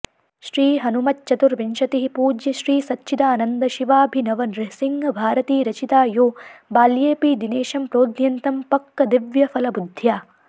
श्री हनुमच्चतुर्विंशतिः पूज्य श्रीसच्चिदानन्द शिवाभिनवनृसिंह भारती रचिता यो बाल्येऽपि दिनेशं प्रोद्यन्तं पक्कदिव्यफलबुद्ध्या